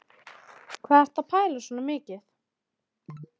Hvað ertu að pæla svona mikið?